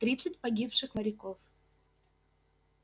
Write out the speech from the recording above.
тридцать погибших моряков